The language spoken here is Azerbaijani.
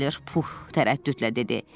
Pux tərəddüdlə dedi.